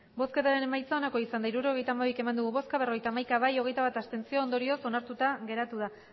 emandako botoak hirurogeita hamabi bai berrogeita hamaika abstentzioak hogeita bat ondorioz onartuta geratu da